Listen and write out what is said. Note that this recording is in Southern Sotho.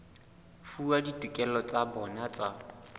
fuwa ditokelo tsa bona tsa